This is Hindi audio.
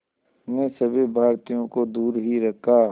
ने सभी भारतीयों को दूर ही रखा